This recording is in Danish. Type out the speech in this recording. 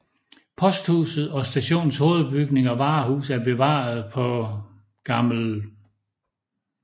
Posthuset og stationens hovedbygning og varehus er bevaret på Gl